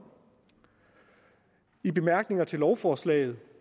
i bemærkningerne til lovforslaget